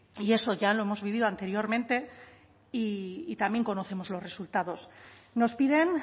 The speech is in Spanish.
y eso ya lo hemos vivido anteriormente y también conocemos los resultados nos piden